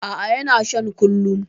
A'a yana shan kulun.